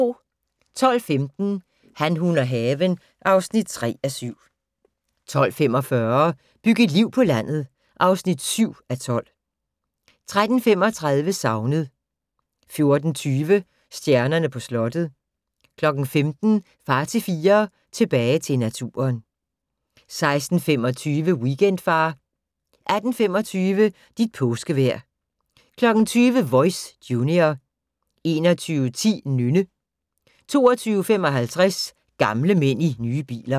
12:15: Han, hun og haven (3:7) 12:45: Byg et liv på landet (7:12) 13:35: Savnet 14:20: Stjernerne på slottet 15:00: Far til fire - tilbage til naturen 16:25: Weekendfar 18:25: Dit påskevejr 20:00: Voice - junior 21:10: Nynne 22:55: Gamle mænd i nye biler